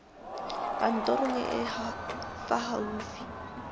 kantorong e e fa gaufi